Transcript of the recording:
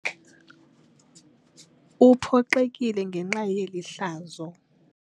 Uphoxekile ngenxa yeli hlazo.